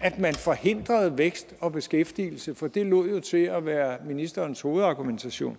at man forhindrede vækst og beskæftigelse for det lod jo til at være ministerens hovedargumentation